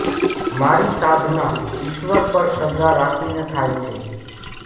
મારી સાધના ઇશ્વર પર શ્રદ્ધા રાખીને થાય છે